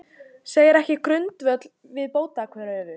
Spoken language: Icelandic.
Segir ekki grundvöll fyrir bótakröfu